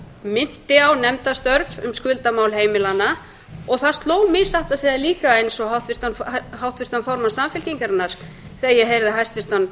minnti á nefndarstörf um skuldamál heimilanna og það sló mig satt að segja líka eins og háttvirtan formann samfylkingarinnar þegar ég heyrði hæstvirtan